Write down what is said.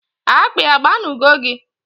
Akpi agba nu go gi?